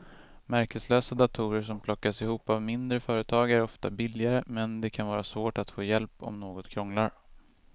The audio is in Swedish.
Märkeslösa datorer som plockas ihop av mindre företag är ofta billigare men det kan vara svårt att få hjälp om något krånglar.